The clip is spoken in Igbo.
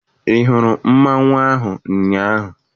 Ị hụrụ mmanwụ ahụ ụnyaahụ?